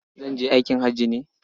Zan je aikin haji ne.